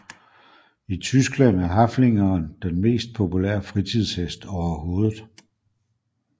I Tyskland er Haflingeren den mest populære fritidshest overhovedet